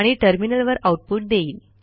आणि टर्मिनलवर आऊटपुट देईल